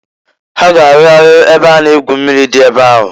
Ha ga-arụgharị ebe a na- egwu mmiri dị ebe ahụ.